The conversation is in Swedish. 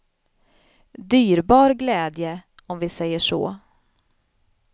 Dyrbar glädje, om vi säger så.